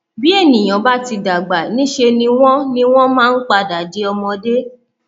bi ènìyàn bá ti dàgbà níṣe ni wọn ni wọn máa ń padà di ọmọdé